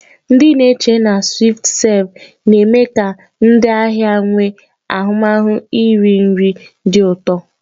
Ndị na-echere na "SwiftServe" na-eme ka ndị ahịa nwee ahụmahụ iri nri dị ụtọ.